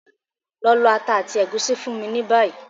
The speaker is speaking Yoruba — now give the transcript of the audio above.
Lọ lọ ata àti ègúsí fún mi ni bayi!